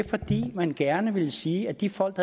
fordi man gerne ville sige at de folk